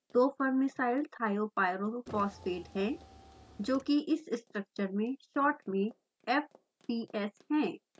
दो farnesylthiopyrophosphate हैं जोकि इस स्ट्रक्चर में शोर्ट में fps है